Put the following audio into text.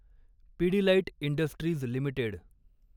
Pidilite industries limited